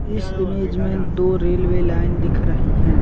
इस इमेज में दो रेलवे लाइन दिख रही हैं।